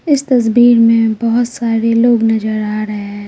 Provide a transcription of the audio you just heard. इस तस्वीर में बहुत सारे लोग नजर आ रहे हैं।